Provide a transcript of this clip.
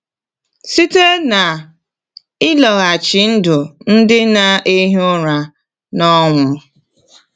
Site n’ịlọghachi ndụ ndị na-ehi ụra n’ọnwụ.